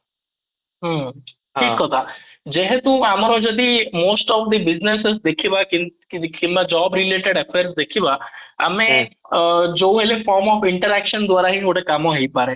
ହୁଁ ହଁ, ଠିକ କଥା ଯେହେତୁ ଆମର ଯଦି most of the business ଦେଖିବା କିମ୍ବା job related acquire ଦେଖିବା ଆମେ ଯୋଉହେଲେ form of interaction ଦ୍ୱାରା ହିଁ ଗୋଟେ କାମ ହେଇପାରିବ